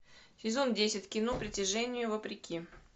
сезон десять кино притяжение вопреки